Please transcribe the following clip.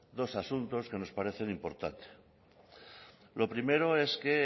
dos asuntos que nos parecen importantes lo primero es que